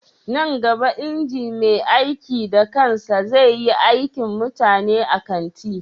Nan gaba inji mai aiki da kansa zai yi aikin mutane a kanti